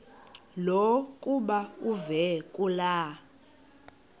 lokuba uve kulaa